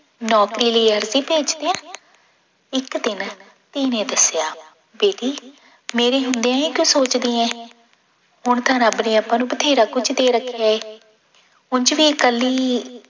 ਨੌਕਰੀ ਲਈ ਅਰਜ਼ੀ ਭੇਜ ਦਿਆਂ, ਇੱਕ ਦਿਨ ਧੀ ਨੇ ਦੱਸਿਆ ਬੇਟੀ ਮੇਰੀ ਹੁੰਦੇ ਇਹ ਕਿਉਂ ਸੋਚਦੀ ਹੈ, ਹੁਣ ਤਾਂ ਰੱਬ ਨੇ ਆਪਾਂ ਨੂੰ ਬਥੇਰਾ ਕੁੱਝ ਦੇ ਰੱਖਿਆ ਹੈ ਉੰਞ ਵੀ ਇਕੱਲੀ